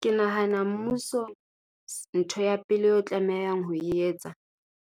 Ke nahana mmuso, ntho ya pele eo e tlamehang ho e etsa,